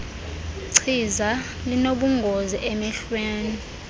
chiza linobungozi emehlweni